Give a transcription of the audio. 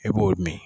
E b'o min